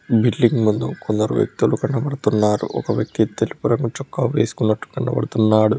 Building ముందు కొందరు వ్యక్తులు కనబడుతున్నారు ఒక వ్యక్తి తెలుపు రంగు చొక్కా వేసుకున్నట్టు కనబడుతున్నాడు.